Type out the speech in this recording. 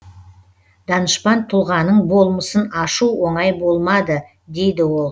данышпан тұлғаның болмысын ашу оңай болмады дейді ол